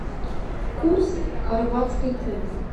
курс хорватской куны